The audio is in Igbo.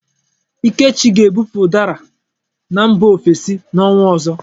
Ikechi ga-ebupu ụdara na mba ofesi n'ọnwa ọzọ.